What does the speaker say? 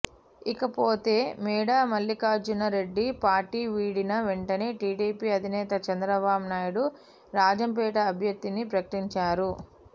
ఇకపోతే మేడా మల్లికార్జున రెడ్డి పార్టీ వీడిన వెంటనే టీడీపీ అధినేత చంద్రబాబు నాయుడు రాజంపేట అభ్యర్థిని ప్రకటించారు